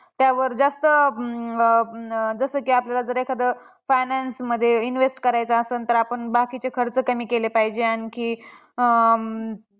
त्यावर जास्त अं जसं की आपल्याला एखादं finance मध्ये invest करायचं आसल तर, आपण बाकीचे खर्च कमी केले पाहिजे. आणखी अं